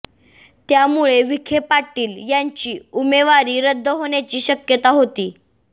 त्यामुळे विखे पाटील यांची उमेवारी रद्द होण्याची शक्यता होती